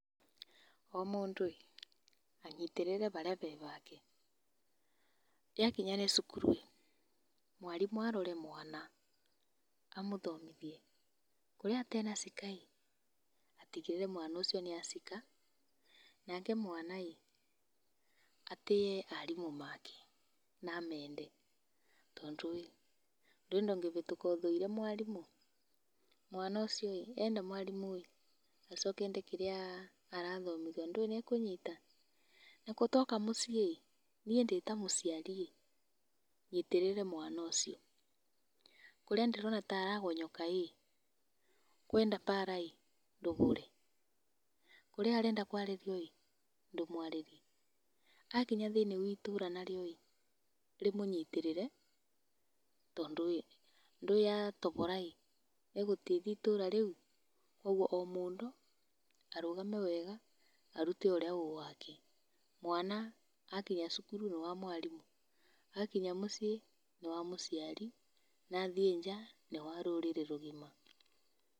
O mũndũ ĩ, anyitĩrĩre harĩa he hake, yakinya nĩ cukuru rĩ mwarimũ arore mwana, amũthomithie, kũrĩa atena cika ĩ, atigĩrĩre mwana ũcio nĩacika nake mwana ĩ, atĩe arimũ make na amende tondũ ĩ nũĩ ndũngĩhĩtũka ũmenete mwarimũ, mwana ũcio ĩ ena mwarimũ ĩ, acoke ende kĩrĩa arathomithua nũĩ nĩekũnyita. Nakuo twoka mũcĩ ĩ, niĩ ndĩta mũciari, nyitĩrĩre mwana ũcio, kũrĩa ndĩrona taragonyoka ĩ kwenda mbara ĩ ndũhũre, kũrĩa arenda kwarĩrio ĩ, ndũmwarĩrie, akinya thĩinĩ waitũra narĩo ĩ rĩmũnyitĩrĩre tondũ ĩ ndũĩ atohora ĩ nĩegũteithia itũra rĩũ. Ũguo omũndũ arũgame wega arute ũrĩa wĩ wake, mwana akinya cukuru nĩ wa mwarimũ, akinya mũciĩ nĩwa mũciari na athiĩ nja nĩ wa rũrĩrĩ rũgima.